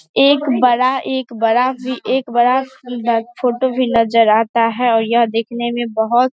एक बड़ा एक बड़ा भी एक बड़ा सुन्‍दर फोटो भी नज़र आता है और यह देखने मे बहुत --